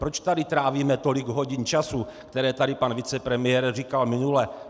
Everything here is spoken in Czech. Proč tady trávíme tolik hodin času, které tady pan vicepremiér říkal minule?